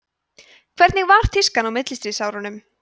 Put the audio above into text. hvernig var tískan á millistríðsárunum